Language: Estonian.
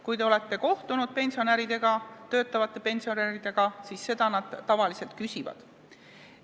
Kui te olete kohtunud töötavate pensionäridega, siis teate, et selle kohta nad tavaliselt küsivad.